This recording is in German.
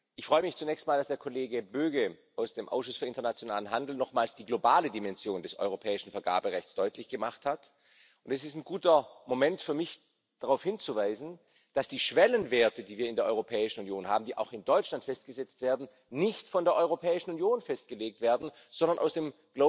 Ich freue mich zunächst mal, dass der Kollege Böge aus dem Ausschuss für internationalen Handel nochmals die globale Dimension des europäischen Vergaberechts deutlich gemacht hat. Und es ist ein guter Moment für mich, darauf hinzuweisen, dass die Schwellenwerte, die wir in der Europäischen Union haben, die auch in Deutschland festgesetzt werden, nicht von der Europäischen Union festgelegt werden, sondern aus dem